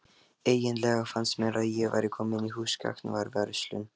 Eiginlega fannst mér ég vera komin í húsgagnaverslun.